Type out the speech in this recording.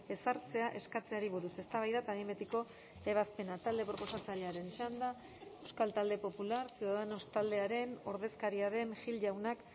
ezartzea eskatzeari buruz eztabaida eta behin betiko ebazpena talde proposatzailearen txanda euskal talde popular ciudadanos taldearen ordezkaria den gil jaunak